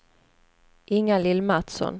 Inga-Lill Mattsson